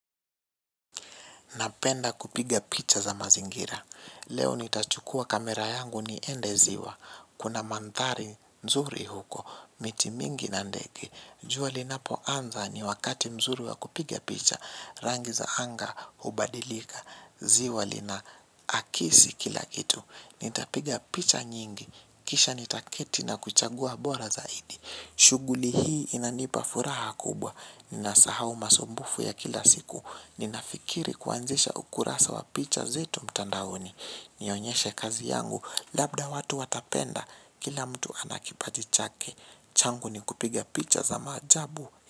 Napenda kupiga picha za mazingira. Leo nitachukua kamera yangu niende ziwa. Kuna manthari, mzuri huko. Miti mingi na ndege. Jua linapo anza ni wakati mzuri wa kupiga picha. Rangi za anga hubadilika. Ziwa lina akisi kila kitu. Nitapiga picha nyingi. Kisha nitaketi na kuchagua bora zaidi. Shughuli hii inanipa furaha kubwa. Ninasahau masumbufu ya kila siku. Ninafikiri kuanzisha ukurasa wa picha zetu mtandaoni. Nionyeshe kazi yangu. Labda watu watapenda. Kila mtu anakipati chake. Changu ni kupiga picha za maajabu.